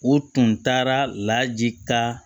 U tun taara laji ka